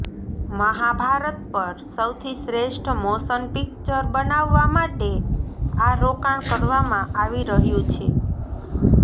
મહાભારત પર સૌથી શ્રેષ્ઠ મોશન પિક્ચર બનાવવા માટે આ રોકાણ કરવામાં આવી રહ્યું છે